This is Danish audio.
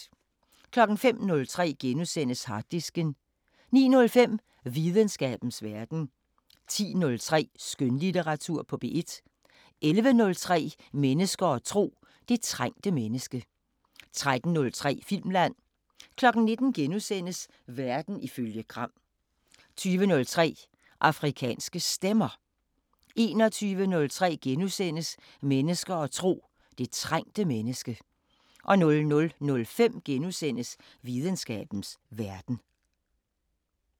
05:03: Harddisken * 09:05: Videnskabens Verden 10:03: Skønlitteratur på P1 11:03: Mennesker og tro: Det trængte menneske 13:03: Filmland 19:00: Verden ifølge Gram * 20:03: Afrikanske Stemmer 21:03: Mennesker og tro: Det trængte menneske * 00:05: Videnskabens Verden *